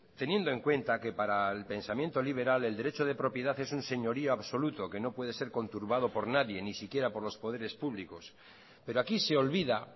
teniendo en cuenta que para el pensamiento liberal el derecho de propiedad es un señorío absoluto que no puede ser conturbado por nadie ni siquiera por los poderes públicos pero aquí se olvida